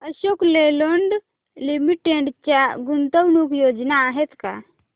Ashok Leyland limited च्या गुंतवणूक योजना आहेत का